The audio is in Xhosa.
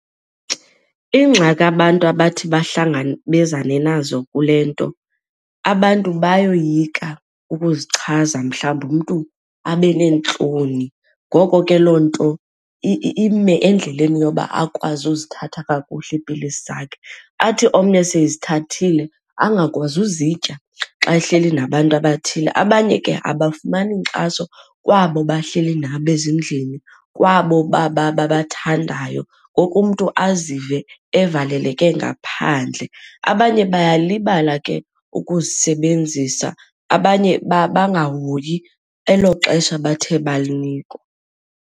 Iingxaki abantu abathi bahlangabezane nazo kule nto abantu bayoyika ukuzichaza mhlawumbi, umntu abe neentloni. Ngoko ke loo nto ime endleleni yoba akwazi uzithatha kakuhle iipilisi zakhe, athi omnye sezithathile angakwazi uzitya xa ehleli nabantu abathile. Abanye ke abafumani nkxaso kwabo bahleli nabo ezindlini, kwabo babathandayo ngoku umntu azive evaleleke ngaphandle. Abanye bayalibala ke ukuzisebenzisa, abanye bangahoyi elo xesha bathe balinikwa.